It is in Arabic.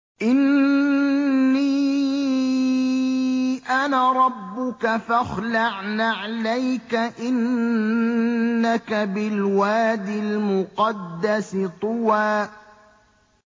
إِنِّي أَنَا رَبُّكَ فَاخْلَعْ نَعْلَيْكَ ۖ إِنَّكَ بِالْوَادِ الْمُقَدَّسِ طُوًى